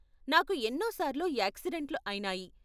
నాకు ఎన్నో సార్లు యాక్సిడెంట్లు అయినాయి.